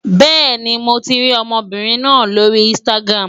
Bẹ́ẹ̀ni, mo ti rí ọmọbìnrin náà lórí Instagram.